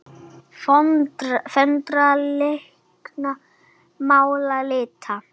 Föndra- teikna- mála- lita